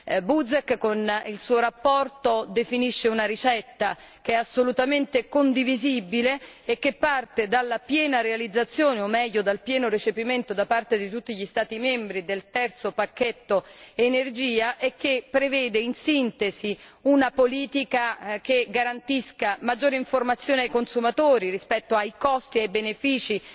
L'onorevole Buzek, con la sua relazione, definisce una ricetta assolutamente condivisibile, che parte dalla piena realizzazione, o meglio dal pieno recepimento da parte di tutti gli Stati membri, del terzo pacchetto Energia e che prevede, in sintesi, una politica che garantisca maggiore informazione ai consumatori rispetto ai costi e ai benefici